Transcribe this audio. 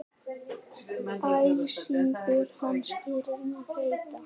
Æsingur hans gerir mig heita.